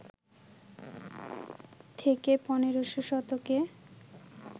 থেকে ১৫শ শতকে